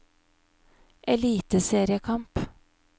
eliteseriekamp